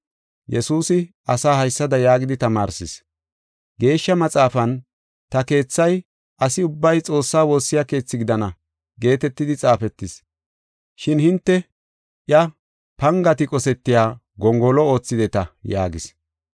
Yesuusi asaa haysada yaagidi tamaarsis: “Geeshsha Maxaafan, ‘Ta keethay asi ubbay Xoossaa woossiya keethi gidana’ geetetidi xaafetis. Shin hinte iya pangati qosetiya gongolo oothideta” yaagis.